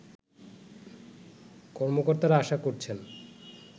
কর্মকর্তারা আশা করছেন